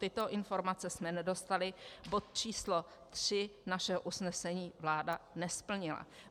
Tyto informace jsme nedostali, bod č. 3 našeho usnesení vláda nesplnila.